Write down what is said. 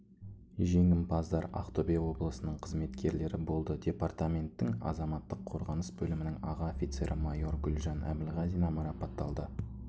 жеңімпаздар ақтөбе облысының қызметкерлері болды департаменттің азаматтық қорғаныс бөлімінің аға офицері майор гүлжан әбілғазина марапатталды